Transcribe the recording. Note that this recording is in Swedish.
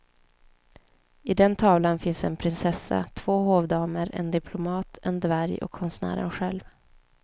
I den tavlan finns en prinsessa, två hovdamer, en diplomat, en dvärg och konstnären själv.